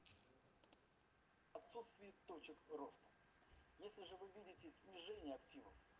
отсутствие точек роста если же вы видите снижение активов